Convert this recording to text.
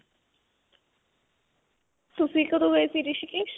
ਤੁਸੀਂ ਕਦੋਂ ਗਏ ਸੀ ਰਿਸ਼ੀਕੇਸ?